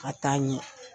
Ka taa ɲɛ